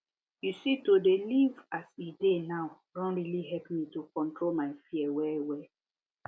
you see to dey live as e dey now don really help me to control my fear wellwell